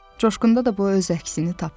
Coşqunda da bu öz əksini tapıb.